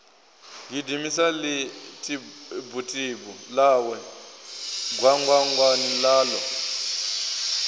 gidimisa ḽitibutibu ḽawe gwangwangwani ḽaḽo